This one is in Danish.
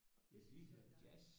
Vi har lige hørt jazz